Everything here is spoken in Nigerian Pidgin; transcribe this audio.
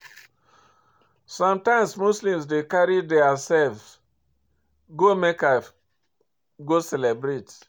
Sometimes Muslims dey carry their self go Mecca go celebrate